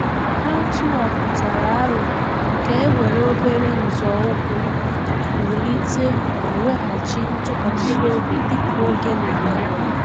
Ha tụ aputara aro ka e were obere nzọụkwụ wulite ma weghachi ntụkwasị obi dika oge na aga